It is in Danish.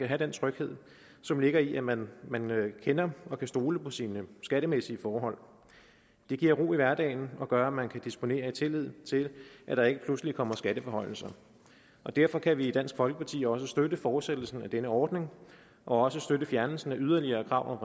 have den tryghed som ligger i at man kender og kan stole på sine skattemæssige forhold det giver ro i hverdagen og gør at man kan disponere i tillid til at der ikke pludselig kommer skatteforhøjelser derfor kan vi i dansk folkeparti også støtte fortsættelsen af denne ordning og også støtte fjernelsen af yderligere krav